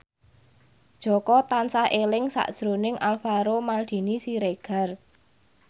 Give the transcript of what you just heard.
Jaka tansah eling sakjroning Alvaro Maldini Siregar